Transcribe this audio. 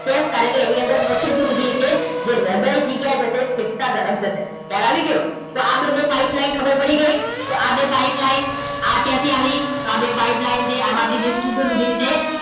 કેમ કારણકે એની અંદર અશુદ્ધ રુધિર છે જે હૃદય થી ક્યાં જશે ફેફસા તરફ જશે ખ્યાલ આવી ગયો તો આ બંને pipeline ખબર પડી ગઈ તો આ બે pipeline આ ક્યાંથી આવી તો આ બે pipeline છે આમાંથી જે શુદ્ધ રુધિર છે